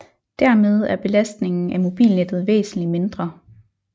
Dermed er belastningen af mobilnettet væsentlig mindre